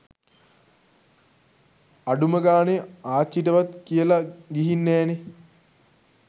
අඩුම ගාණෙ ආච්චිටවත් කියල ගීහින් නෑනෙ.